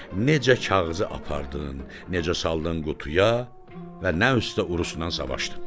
Necə kağızı apardın, necə saldın qutuya və nə üstdə urusnan savaştın?